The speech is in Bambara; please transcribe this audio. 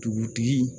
Dugutigi